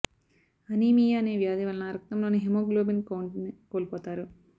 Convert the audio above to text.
anaemia అనే వ్యాధి వలన రక్తంలోని హిమోగ్లోబిన్ కౌంట్ ని కోల్పోతారు